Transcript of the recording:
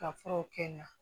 Ka furaw kɛ na